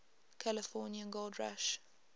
california gold rush